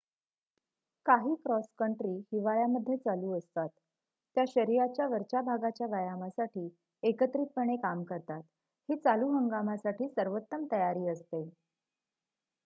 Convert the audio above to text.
काही cross country हिवाळ्यामध्ये चालू असतात त्या शरीराच्या वरच्या भागाच्या व्यायामासाठी एकत्रितपणे काम करतात ही चालू हंगामासाठी सर्वोत्तम तयारी असते